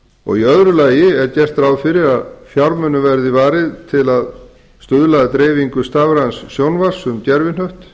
og í öðru lagi er gert ráð fyrir að fjármunum verði varið til að stuðla að dreifingu stafræns sjónvarps um gervihnött